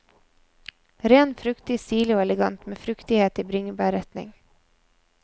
Ren, fruktig, stilig og elegant med fruktighet i bringebærretning.